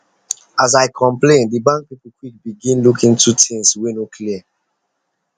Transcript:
as i complain the bank people quick begin look into the things wey no clear